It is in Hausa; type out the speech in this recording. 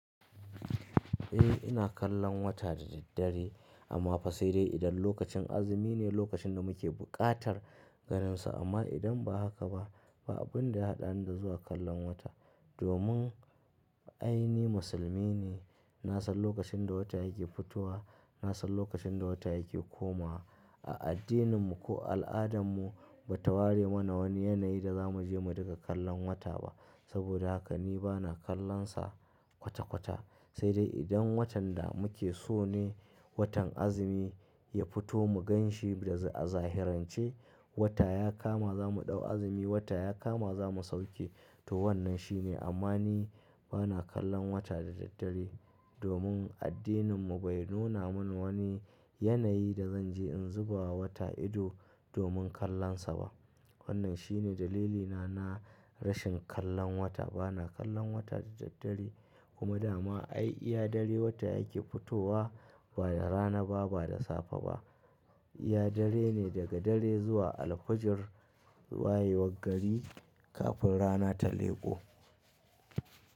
Eh ina kallan wata da daddare amma fa sai dai idan lokacin azumi ne lokacin da muke buƙatar ganinsa amma idan ba haka ba, ba abun da ya haɗa ni da zuwa kallan wata. Domin ai ni musulmi ne, na san lokacin da wata yake fitowa, na san lokacin da wata yake komawa. A addinin mu ko al'adan mu ba ta ware mana wani yanayi da za mu je mu dinga kallan wata ba. Saboda haka ni ba na kallon sa kwata-kwata. Sai dai idan watan da muke so ne, watan azumi ya fito mu ganshi a zahirance, wata ya kama za mu ɗau azumi, wata ya kama za mu sauke to wannan shi ne. Amma ni ba na kallon wata da daddare domin addinin mu bai nuna muni wani yanayi da zan je in zubawa wata ido domin kallon sa ba. Wannan shi ne dalilina na rashin kallon wata. Ba na kallan wata da daddare kuma da ma ai iya dare wata yake fitowa ba da rana ba, ba da safe ba. Iya dare ne daga dare zuwa alfujir wayewar gari kafin rana ta leko.